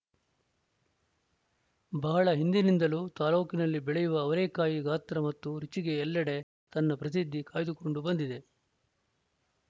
ಬಹಳ ಹಿಂದಿನಿಂದಲೂ ತಾಲೂಕಿನಲ್ಲಿ ಬೆಳೆಯುವ ಅವರೇಕಾಯಿ ಗಾತ್ರ ಮತ್ತು ರುಚಿಗೆ ಎಲ್ಲಡೆ ತನ್ನ ಪ್ರಸಿದ್ಧಿ ಕಾಯ್ದುಕೊಂಡು ಬಂದಿದೆ